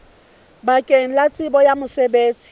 bakeng la tsebo ya mosebetsi